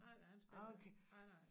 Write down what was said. Nej nej han spiller ikke nej nej